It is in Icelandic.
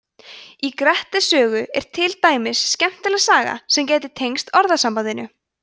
í grettis sögu er til dæmis skemmtileg saga sem gæti tengst orðasambandinu